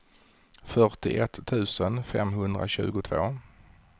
fyrtioett tusen femhundratjugotvå